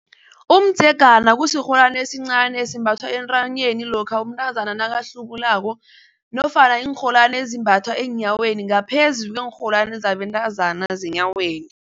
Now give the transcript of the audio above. Umdzegana kusirholwani esincani esimbathwa entanyeni lokha umntazana nakahlubulako nofana iinrholwani ezimbathwa eenyaweni ngaphezu kuneenrholwani zabentazana zeenyaweni.